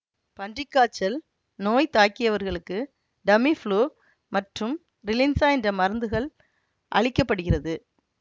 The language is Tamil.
பன்றி காய்ச்சல் நோய் தாக்கியவர்களுக்கு டமி ப்ளூ மற்றும் ரிலின்ஸா என்ற மருந்துகள் அளிக்க படுகிறது